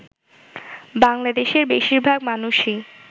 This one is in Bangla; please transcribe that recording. বাংলাদেশের বেশিরভাগ মানুষই